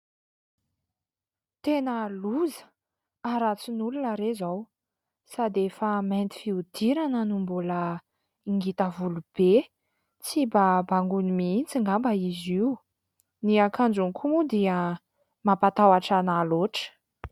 tena loza aratsy nyolona re izao sady efa mainty fiodirana no mbola ingita volobe sy mbabangony miintsy nga mba izy io ny akanjony koa moa dia mampatahatra nahaloatra